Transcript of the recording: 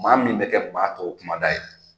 Maa min bɛ kɛ maa tow kumada ye.